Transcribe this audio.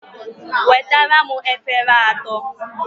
Wetara m efere atọ!